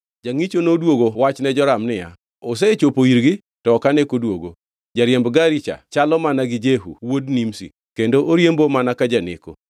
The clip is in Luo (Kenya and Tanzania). Jangʼicho noduogo wach ne Joram niya, “Osechopo irgi, to ok ane koduogo. Jariemb gari cha chalo mana gi Jehu wuod Nimshi, kendo oriembo mana ka janeko.”